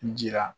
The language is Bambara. N jira